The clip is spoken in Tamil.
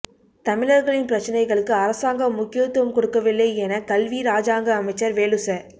தமிழர்களின் பிரச்சினைகளுக்கு அரசாங்கம் முக்கியத்துவம் கொடுக்கவில்லை என கல்வி இராஜாங்க அமைச்சர் வேலுச